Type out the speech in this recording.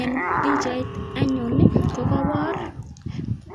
Eng pichait anyun kokapor